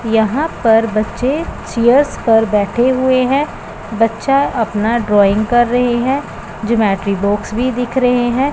यहां पर बच्चे चेयर्स पर बैठे हुए हैं बच्चा अपना ड्राइंग कर रहे हैं ज्योमेट्री बॉक्स भी दिख रहे हैं।